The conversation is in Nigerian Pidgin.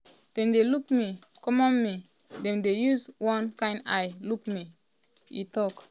dem dey look me common me common dem dey use one kain eye look me" e tok.